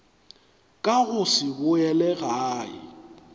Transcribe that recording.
ka go se boele gae